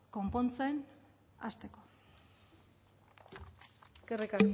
konpontzen hasteko eskerrik